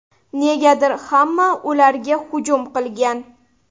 Negadir hamma ularga hujum qilgan.